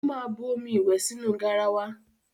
Ó máa bu omi ìwẹ̀ sínú garawa.